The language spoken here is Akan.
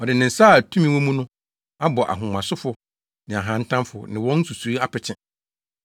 Ɔde ne nsa a tumi wɔ mu no abɔ ahomasofo ne ahantanfo ne wɔn nsusuwii apete.